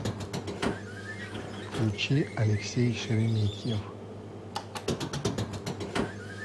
включи алексей шереметьев